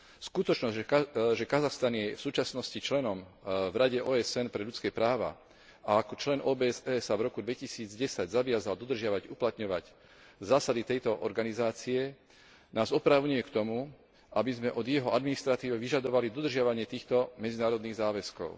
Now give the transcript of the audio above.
Skutočnosť, že Kazachstan je v súčasnosti členom v Rade OSN pre ľudské práva a ako člen OBSE sa v roku 2010 zaviazal dodržiavať a uplatňovať zásady tejto organizácie, nás oprávňuje k tomu, aby sme od jeho administratívy vyžadovali dodržiavanie týchto medzinárodných záväzkov.